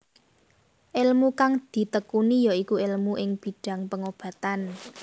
Elmu kang ditekuni ya iku elmu ing bidhang pengobatan